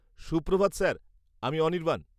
সুপ্রভাত স্যার, আমি অনির্বাণ।